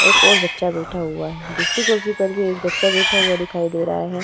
एक और बच्चा बैठा हुआ है। दूसरी कुर्सी पर भी एक बच्चा बैठा हुआ दिखाई दे रहा है।